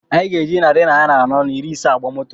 Anyị ga-eji narị naira anọ na iri ise agba moto